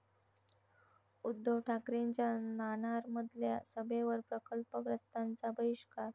उद्धव ठाकरेंच्या नाणारमधल्या सभेवर प्रकल्पग्रस्तांचा बहिष्कार